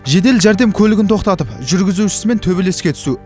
жедел жәрдем көлігін тоқтатып жүргізушісімен төбелеске түсу